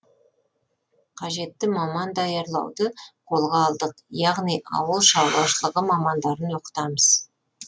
қажетті маман даярлауды қолға алдық яғни ауылшаруашылығы мамандарын оқытамыз